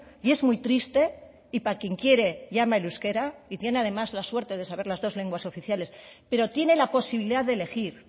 y es muy triste y para quien quiere llama el euskera y tiene además la suerte de saber las dos lenguas oficiales pero tiene la posibilidad de elegir